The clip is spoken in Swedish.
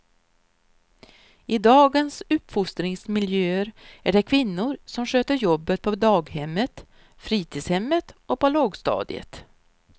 I dagens uppfostringsmiljöer är det kvinnor som sköter jobbet på daghemmet, fritidshemmet och på lågstadiet.